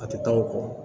A tɛ taa o kɔ